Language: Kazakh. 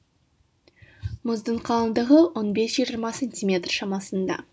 мұздың қалыңдығы он бес жиырма сантиметр шамасында